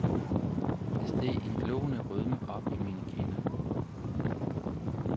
Der steg en gloende rødme op i mine kinder.